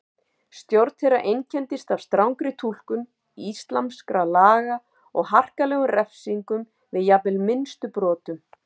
Stjórn þeirra einkenndist af strangri túlkun íslamskra laga og harkalegum refsingum við jafnvel minnstu brotum.